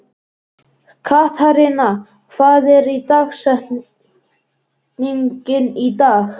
Katharina, hver er dagsetningin í dag?